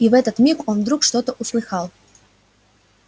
и в этот миг он вдруг что-то услыхал